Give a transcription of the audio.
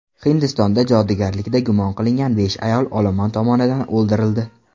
Hindistonda jodugarlikda gumon qilingan besh ayol olomon tomonidan o‘ldirildi.